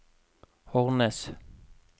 Hornnes